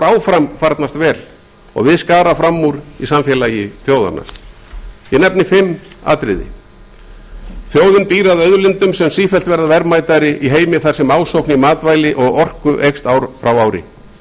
áfram farnast vel og við skara fram úr í samfélagi þjóðanna ég nefni fimm atriði þjóðin býr að auðlindum sem sífellt verða verðmætari í heimi þar sem ásókn í matvæli og orku eykst ár frá ári